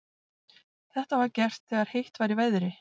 Þetta var gert þegar heitt var í veðri.